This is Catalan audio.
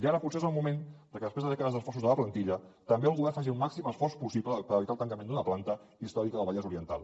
ara potser és el moment que després de dècades d’esforços de la plantilla també el govern faci el màxim esforç possible per evitar el tancament d’una planta històrica del vallès oriental